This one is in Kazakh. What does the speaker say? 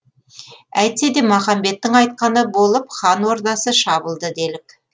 әйтсе де махамбеттің айтқаны болып хан ордасы шабылды делік